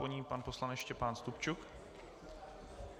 Po ní pan poslanec Štěpán Stupčuk.